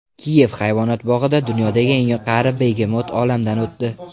Kiyev hayvonot bog‘ida dunyodagi eng qari begemot olamdan o‘tdi.